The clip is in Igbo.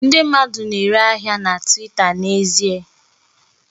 Ndị mmadụ na-ere ahịa ha na Twita n'ezie